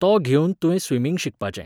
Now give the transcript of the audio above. तो घेवन तुवें स्विमींग शिकपाचें.